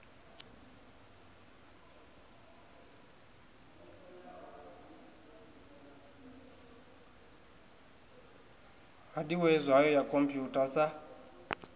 hadiwee zwayo ya khomputha sa